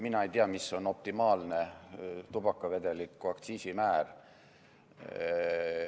Mina ei tea, mis on optimaalne tubakavedeliku aktsiisimäär.